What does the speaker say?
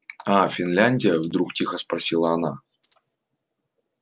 а финляндия вдруг тихо спросила она